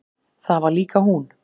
Það var líka hún.